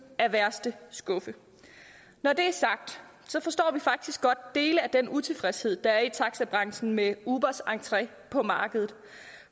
af værste skuffe når det er sagt forstår vi faktisk godt dele af den utilfredshed der er i taxabranchen med ubers entre på markedet